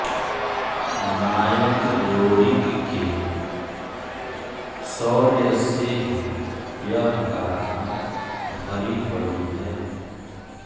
नायक लोरिक के शौर्य से ही यह गाथा भरी पड़ी है